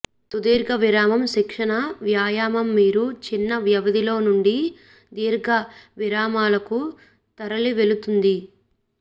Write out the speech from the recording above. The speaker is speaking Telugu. సుదీర్ఘ విరామం శిక్షణ వ్యాయామం మీరు చిన్న వ్యవధిలో నుండి దీర్ఘ విరామాలకు తరలివెళుతుంది